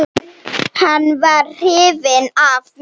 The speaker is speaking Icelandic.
Hann var hrifinn af mér.